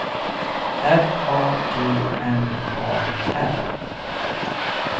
R A G N A R